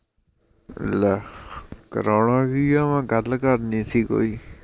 ਲੈ, ਕਰਾਉਣਾ ਕੀ ਐ ਮੈਂ ਗੱਲ ਕਰਣੀ ਸੀ ਕੋਈ